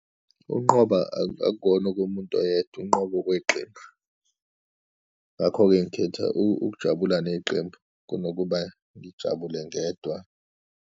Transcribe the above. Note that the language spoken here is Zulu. Ukunqoba akuwona okomuntu oyedwa, ukunqoba okweqembu. Ngakho-ke ngikhetha ukujabula neqembu kunokuba ngijabule ngedwa.